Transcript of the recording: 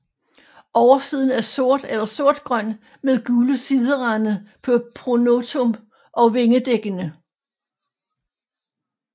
Oversiden er sort eller sortgrøn med gule siderande på pronotum og vingedækkerne